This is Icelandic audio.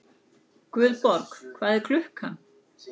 Guðborg, hvað er klukkan?